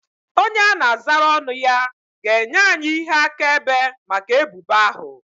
Onye a na-azara ọnụ ya ga-enye anyị ihe akaebe maka ebubo ahụ